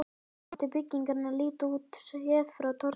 Þannig átti byggingin að líta út, séð frá torginu.